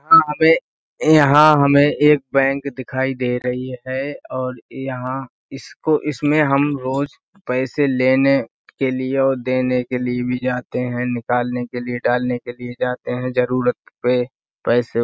यहाँ पे यहाँ हमें एक बैंक दिखाई दे रही है और यहाँ इसको इसमें हम रोज पैसे लेने के लिए और देने के लिए भी जाते हैं। निकालने के लिए डालने के लिए जाते हैं जरुरत पे पैसे --